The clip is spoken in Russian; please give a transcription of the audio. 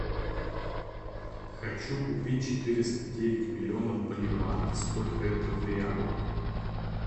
хочу купить четыреста девять миллионов боливаров сколько это в реалах